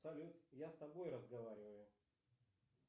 салют я с тобой разговариваю